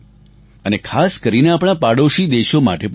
અને ખાસ કરીને આપણા પાડોશી દેશો માટે પણ છે